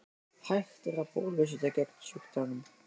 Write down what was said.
Hægt er að bólusetja gegn sjúkdómnum.